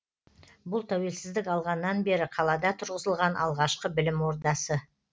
бұл тәуелсіздік алғаннан бері қалада тұрғызылған алғашқы білім ордасы